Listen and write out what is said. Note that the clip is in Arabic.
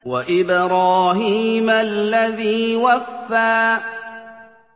وَإِبْرَاهِيمَ الَّذِي وَفَّىٰ